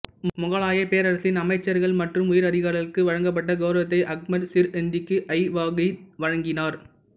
முகலாயப் பேரரசின் அமைச்ர்கள் மற்றும் உயர்அதிகாரிகளுக்கு வழங்கப்பட்ட கெளரவத்தை அஹ்மத் சிர்ஹிந்திக்கு ஜஹாங்கிர் வழங்கினார்